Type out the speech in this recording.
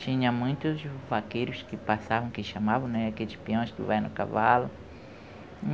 tinha muitos vaqueiros que passavam, que chamavam, né, aqueles peões que vai no cavalo.